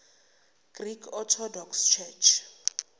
greek orthodox church